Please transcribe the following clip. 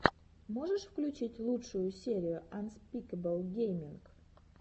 можешь включить лучшую серию анспикэбл гейминг